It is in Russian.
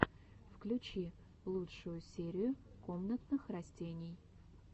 включи лучшую серию комнатных растений